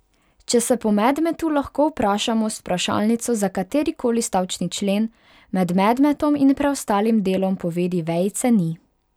Če se po medmetu lahko vprašamo z vprašalnico za kateri koli stavčni člen, med medmetom in preostalim delom povedi vejice ni.